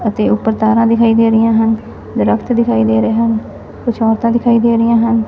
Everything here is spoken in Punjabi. ਹਰੇ ਰੰਗ ਦੇ ਕੱਪੜੇ ਪਾਏ ਹਨ ਜੋ ਕਿ ਮੈਡੀਕਲ ਸਟੂਡੈਂਟ ਵੀ ਲੱਗ ਰਹੇ ਹਨ।